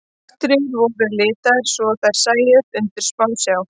Bakteríur voru litaðar svo þær sæjust undir smásjá.